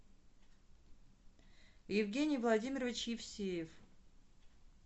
евгений владимирович евсеев